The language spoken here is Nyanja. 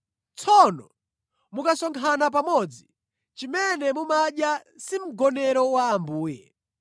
Tsono, mukasonkhana pamodzi, chimene mumadya si Mgonero wa Ambuye.